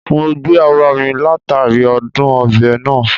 Mo gbagbe ara mi latari adun obe naa